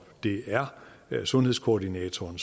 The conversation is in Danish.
det er sundhedskoordinatoren